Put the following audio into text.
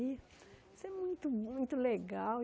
E isso é muito, muito legal.